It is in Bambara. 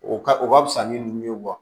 O ka o ka fisa ni dimi ye